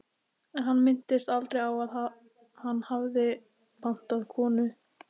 Bara ártal sem varð til í huga mér.